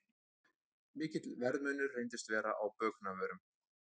Mikill verðmunur reyndist vera á bökunarvörum